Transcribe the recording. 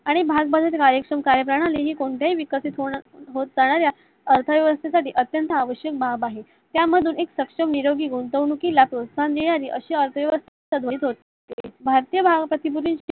आणि भागाबाजारची कार्यषम प्रणली ही कोणत्या ही विकसित होणाऱ्या होत जाणाऱ्या अर्थव्यवस्थेसाठी अत्यंत आवश्यक बाब आहे. त्यामधून एक सक्षम निरोगी गुंतवणुकीला प्रोत्साहन असे भारतींय वाहकाची